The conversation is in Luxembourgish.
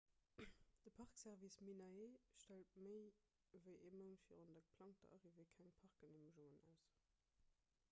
de park service minae stellt méi ewéi ee mount virun der geplangter arrivée keng parkgeneemegungen aus